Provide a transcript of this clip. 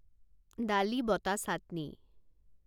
ডালি বটা চাটনি